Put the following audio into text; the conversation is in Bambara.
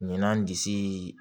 Ɲɛna n disi